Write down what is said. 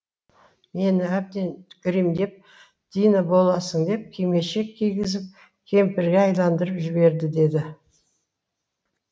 мені әбден гримдеп дина боласың деп кимешек кигізіп кемпірге айналдырып жіберді деді